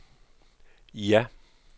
ja